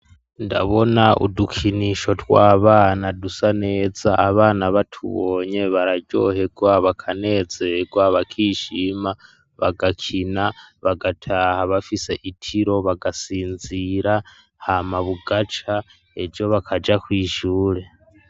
Ndabona udukinisho rwabana dusa neza abana batubonye bararyohegwa bakanezerwa bakishima bagakina bagataha bafise itiro bagasinzira hama bugaca ej bakaja kwisure.